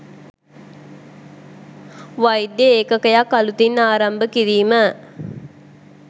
වෛද්‍ය ඒකකයක් අලුතින් ආරම්භ කිරීම